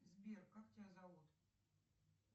сбер как тебя зовут